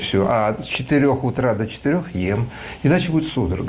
всё с четырёх утра до четёр ем иначе будет судорога